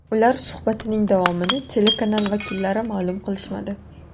Ular suhbatining davomini telekanal vakillari ma’lum qilishmadi.